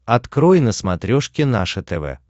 открой на смотрешке наше тв